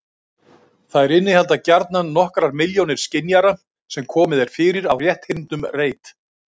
Þær innihalda gjarnan nokkrar milljónir skynjara sem komið er fyrir á rétthyrndum reit.